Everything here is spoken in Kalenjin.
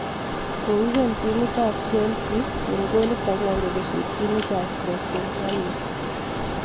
Koibel timit ab Chelsea eng golit agenge kosir timit ab Crystal palace